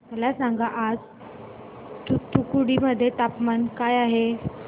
मला सांगा आज तूतुकुडी मध्ये तापमान काय आहे